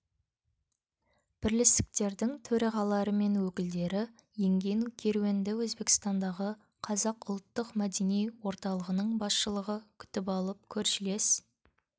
бірлестіктердің төрағалары мен өкілдері енген керуенді өзбекстандағы қазақ ұлттық мәдени орталығының басшылығы күтіп алып көршілес